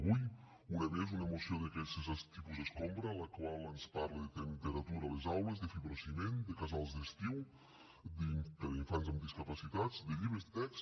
avui una més una moció d’aquestes tipus escombra en la qual ens parla de temperatura a les aules de fibrociment de casals d’estiu per a infants amb discapacitats de llibres de text